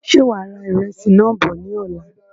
Ṣe wàá ra ìrẹsì náà bọ̀ ní ọ̀la?